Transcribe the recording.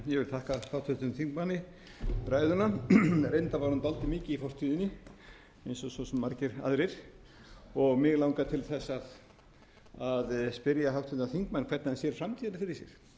fortíðinni eins og svo sem margar r aðili r mig langar til þess að spyrja háttvirtan þingmann hvernig hann sér framtíðina fyrir sér hvort það sé